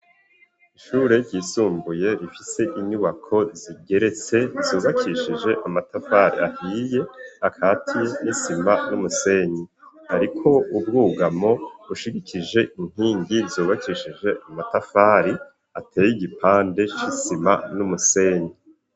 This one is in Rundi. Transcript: Ishure ryisumbuye, rifise inyubako zigeretse, zubakishije amatafari ahiye, akatiye n'isima n'umusenyi; hariko ubwugamo, bushigikije inkingi, zubakishije amatafari, ateye igipande c'isima, n'umusenyi.